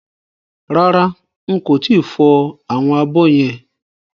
Rárá n kò tíì fọ àwọn abọ́ yẹn